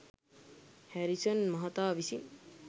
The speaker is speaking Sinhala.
හැරිසන් මහතා විසින්